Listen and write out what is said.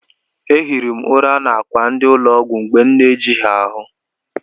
Ehiri m ụra n'akwa ndị ụlọ ọgwụ mgbe na-ejighị ahụ.